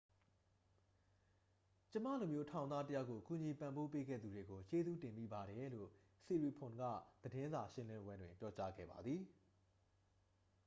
"""ကျွန်မလိုမျိုးထောင်သားတစ်ယောက်ကို ကူညီပံ့ပိုးပေးခဲ့သူတွေကို ကျေးဇူးတင်မိပါတယ်၊" လို့ siriporn က သတင်းစာရှင်းလင်းပွဲတွင် ပြောကြားခဲ့ပါသည်။